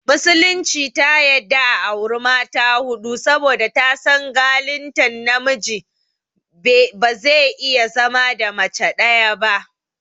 Musulunci ta yadda a auri mata huɗu saboda ta san galittan namiji ne bazai iya zama da mace ɗaya ba